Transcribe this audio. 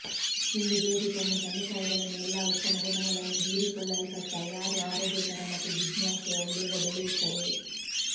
ಇಂದು baby ತನ್ನ ತಂದೆತಾಯಿಗಳನ್ನು ಎಲ್ಲಾ ಉತ್ತಮ ಗುಣಗಳನ್ನು ಹೀರಿಕೊಳ್ಳಲ್ಪಟ್ಟ ಯಾರು ಆರೋಗ್ಯಕರ ಮತ್ತು ಜಿಜ್ಞಾಸೆಯ ಹುಡುಗ ಬೆಳೆಯುತ್ತವೆ